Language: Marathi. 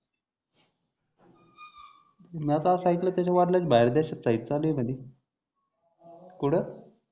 म्या तर अस आयकल त्याच्या वडलाची बाहेर देशात साहित्यान आहे म्हणे कुठ